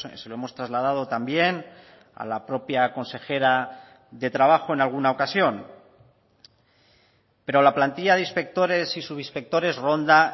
se lo hemos trasladado también a la propia consejera de trabajo en alguna ocasión pero la plantilla de inspectores y subinspectores ronda